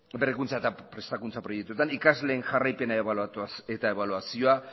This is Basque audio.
ikasleen jarraipena eta ebaluazioa